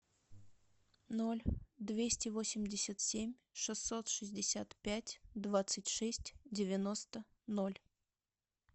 ноль двести восемьдесят семь шестьсот шестьдесят пять двадцать шесть девяносто ноль